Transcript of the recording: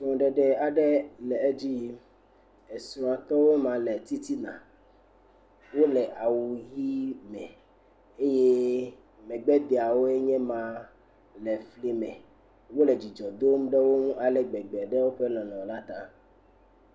Srɔ̃ɖeɖe aɖe le edzi yim. Esrɔ̃tɔwo ma le titina. Wo le awu ʋi me eye megbedeawoe nye ma le efli me. Wo le dzidzɔ dom ɖe wo nu ale gbegbe ɖe woƒe lɔlɔ̃ la ta.